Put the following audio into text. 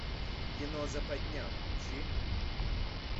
кино западня включи